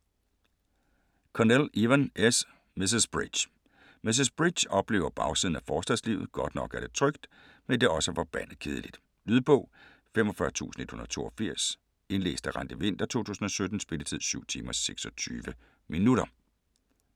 Connell, Evan S.: Mrs. Bridge Mrs. Bridge oplever bagsiden af forstadslivet - godt nok er det trygt, men det er også forbandet kedeligt. Lydbog 45182 Indlæst af Randi Winther, 2017. Spilletid: 7 timer, 26 minutter.